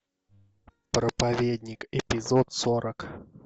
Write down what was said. проповедник эпизод сорок